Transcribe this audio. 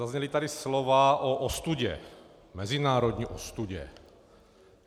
Zazněla tady slova o ostudě, mezinárodní ostudě.